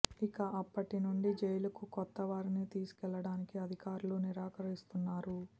ఇక అప్పటి నుంచి జైలుకు కొత్త వారిని తీసుకెళ్లడానికి అధికారులు నిరాకరిస్తున్నారు